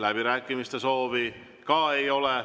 Läbirääkimiste soovi ka ei ole.